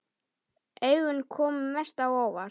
Augun komu mest á óvart.